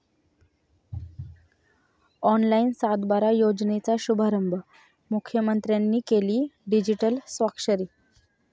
online सातबारा योजनेचा शुभारंभ, मुख्यमंत्र्यांनी केली डिजीटल स्वाक्षरी